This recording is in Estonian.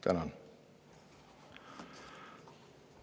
Tänan!